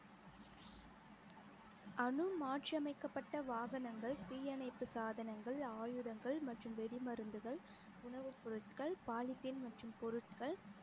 அனு மாற்றியமைக்கப்பட்ட வாகனங்கள் தீயணைப்பு சாதனங்கள் ஆயுதங்கள் மற்றும் வெடி மருந்துகள் உணவுப் பொருட்கள் பாலித்தீன் மற்றும் பொருட்கள்